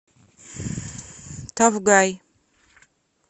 тафгай